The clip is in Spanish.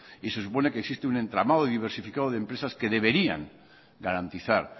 y se supone que existe un entramado diversificado de empresas que deberían garantizar